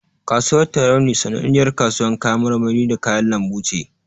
Kasuwar Tarauni sananniyar kasuwar kayan marmari da kayan lambu ce.